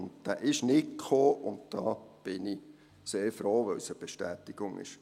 Und zu diesem kam es nicht, und darüber bin ich sehr froh, weil es eine Bestätigung ist.